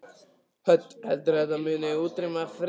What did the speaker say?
Hödd: Heldurðu að þetta muni útrýma frímerkjum?